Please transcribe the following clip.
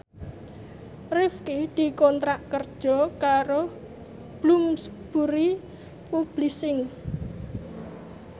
Rifqi dikontrak kerja karo Bloomsbury Publishing